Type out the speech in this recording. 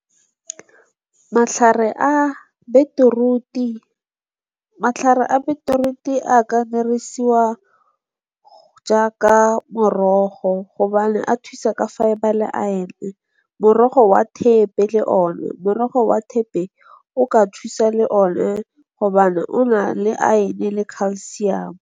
Matlhare a beetroot-i a ka jaaka morogo gobane a thusa ka fiber le iron, morogo wa thepe le one. Morogo wa thepe o ka thusa le one gobane o na le iron le calcium.